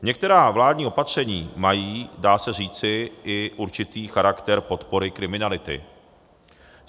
Některá vládní opatření mají, dá se říci, i určitý charakter podpory kriminality.